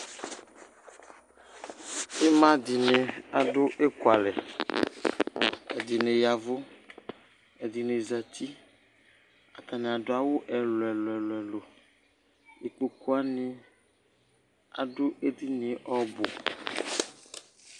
ima di ni adu eku alɛ ɛdini ya vu ɛdini zati atani adu awu ɛlò ɛlò ɛlò ikpoku wani adu edini yɛ ɔbu